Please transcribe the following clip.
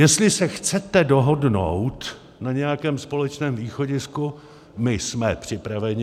Jestli se chcete dohodnout na nějakém společném východisku, my jsme připraveni.